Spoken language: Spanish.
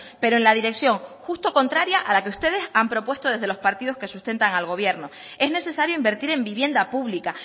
pero en la dirección justo contraria a la que ustedes han propuesto desde los partidos que sustentan al gobierno es necesario invertir en vivienda pública